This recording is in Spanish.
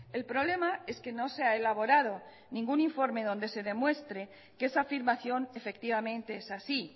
el problema es que no se ha elaborado ningún informe donde se demuestre que esa afirmación efectivamente es así